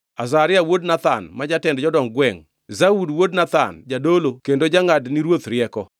Azaria wuod Nathan ma jatend jodong gwengʼ, Zabud wuod Nathan jadolo kendo jangʼad ni ruoth rieko;